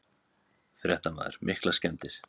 Fréttamaður: Miklar skemmdir?